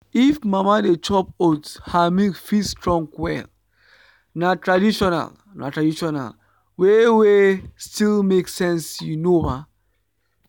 if mama dey chop oats her milk fit strong well. na traditional na traditional way wey still make sense you know ba.